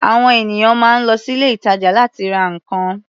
À̀wọn ènìyàn máa ń lọ sí ilé-ìtàjà láti ra nǹkan.